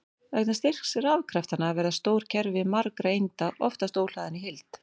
Vegna styrks rafkraftanna verða stór kerfi margra einda oftast óhlaðin í heild.